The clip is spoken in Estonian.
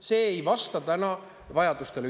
See ei vasta ühiskonna vajadustele.